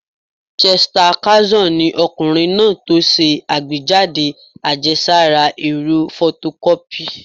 Chester Carlson ni ọkùnrin náà tó ṣe àgbéjáde àjẹsára ẹ̀rọ fotokọ́pì